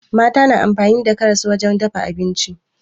Mata na amfani da karas wajen dafa abinci